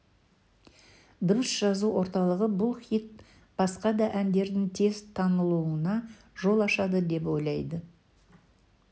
дыбыс жазу орталығы бұл хит басқа да әндердің тез танылуына жол ашады деп ойлады